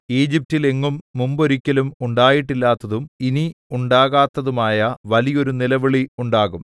ഈജിപ്റ്റിൽ എങ്ങും മുമ്പൊരിക്കലും ഉണ്ടായിട്ടില്ലാത്തതും ഇനി ഉണ്ടാകാത്തതുമായ വലിയൊരു നിലവിളി ഉണ്ടാകും